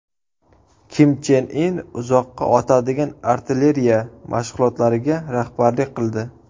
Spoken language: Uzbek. Kim Chen In uzoqqa otadigan artilleriya mashg‘ulotlariga rahbarlik qildi.